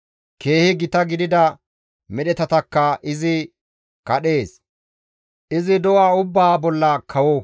Keehi gita gidida medhetatakka izi kadhees; izi do7a ubbaa bolla kawo.»